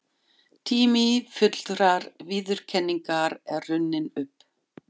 Tími fullrar viðurkenningar er runninn upp.